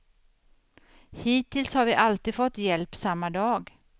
Hittills har vi alltid fått hjälp samma dag.